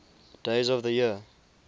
days of the year